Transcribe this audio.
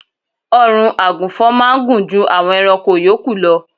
Ọrùn àgùnfọn máá ń gùn ju àwọn ẹranko yòókù lọ